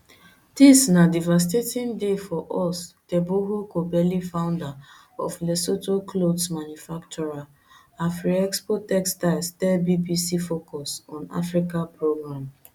dis na devastating day for us teboho kobeli founder of lesotho clothes manufacturer afriexpo textiles tell bbc focus on africa programme